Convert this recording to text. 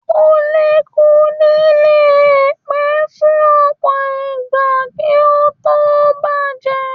Kulikuli le pẹ́ fún ọpọ ìgbà kí o to bajẹ.